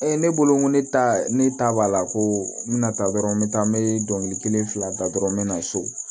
ne bolo n ko ne ta ne ta b'a la ko n bɛna taa dɔrɔn me taa n bɛ dɔnkili kelen fila da dɔrɔn n bɛ na so